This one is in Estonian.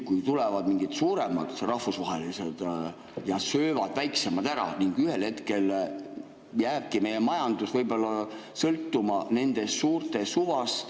Kui tulevad mingid suuremad rahvusvahelised ja söövad väiksemad ära, siis ühel hetkel jääbki meie majandus sõltuma nende suurte suvast.